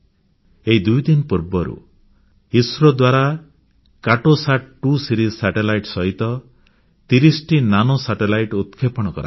ଏହି ଦୁଇଦିନ ପୂର୍ବରୁ ଇସ୍ରୋ ଦ୍ୱାରା କାର୍ଟୋସାଟ2 ଶୃଙ୍ଖଳାର ଉପଗ୍ରହ ସହିତ 30 ଟି ଅତି କ୍ଷୁଦ୍ର ଉପଗ୍ରହ ପ୍ରକ୍ଷେପଣ କରାଗଲା